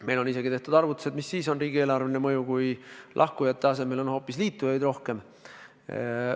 Meil on isegi tehtud arvutused, kui suur on riigieelarveline mõju, kui lahkujate asemel on hoopis liitujaid rohkem.